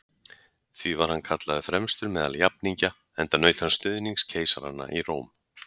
Því var hann kallaður fremstur meðal jafningja, enda naut hann stuðnings keisaranna í Róm.